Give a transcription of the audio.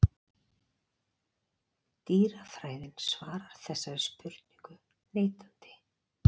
Dýrafræðin svarar þessari spurningu neitandi.